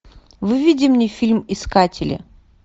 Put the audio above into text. выведи мне фильм искатели